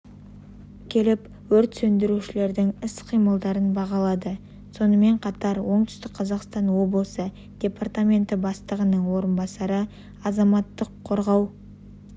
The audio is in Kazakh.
келіп өрт сөндірушілердің іс-қимылдарын бағалады сонымен қатар оңтүстік қазақстан облысы департаменті бастығының орынбасары азаматтық қорғау